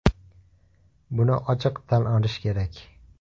Buni ochiq tan olish kerak.